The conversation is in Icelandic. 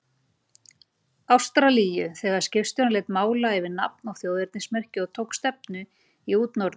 Ástralíu, þegar skipstjórinn lét mála yfir nafn og þjóðernismerki og tók stefnu í útnorður.